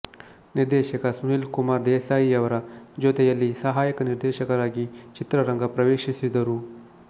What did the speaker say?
ನಿರ್ದೇಶಕ ಸುನಿಲ್ ಕುಮರ್ ದೇಸಾಯಿಯವರ ಜೊತೆಯಲ್ಲಿ ಸಹಾಯಕ ನಿರ್ದೇಶಕರಾಗಿ ಚಿತ್ರರಂಗ ಪ್ರವೇಶಿಸಿದರು